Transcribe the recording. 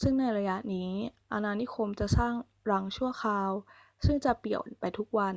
ซึ่งในระยะนี้ อาณานิคมจะสร้างรังชั่วคราวซึ่งจะเปลี่ยนไปทุกวัน